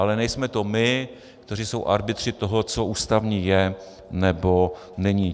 Ale nejsme to my, kteří jsou arbitři toho, co ústavní je nebo není.